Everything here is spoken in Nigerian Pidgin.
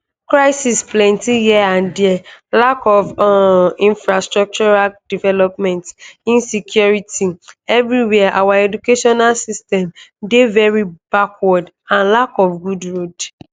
crisis plenty here and dia lack of um infrastructural development insecurity evriwia our educational system dey very backward and lack of good road